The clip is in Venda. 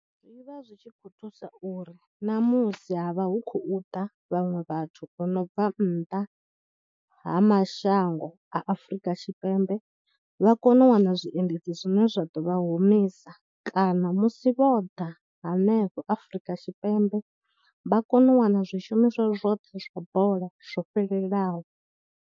Zwi vha zwi tshi khou thusa uri namusi havha hu khou da vhaṅwe vhathu vho no bva nnḓa ha mashango a Afrika Tshipembe vha kone u wana zwiendedzi zwine zwa ḓo vha humisa kana musi vho ḓa hanefho Afrika Tshipembe vha kone u wana zwishumiswa zwoṱhe zwa bola zwo fhelelaho.